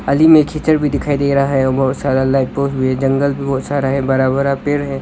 नाली में कीचड़ भी दिखाई दे रहा है बहुत सारा लाइफ बोट भी है जंगल भी बहुत सारा है बड़ा बड़ा पेड़ है।